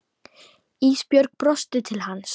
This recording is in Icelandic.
Ísbjörg brosti til hans.